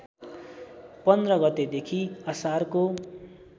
१५ गतेदेखि असारको